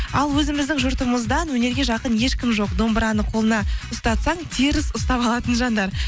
ал өзіміздің жұртымыздан өнерге жақын ешкім жоқ домбыраны қолына ұстатсаң теріс ұстап алатын жандар